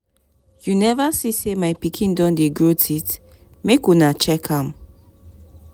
You neva see sey my pikin don dey grow teeth? make una check am.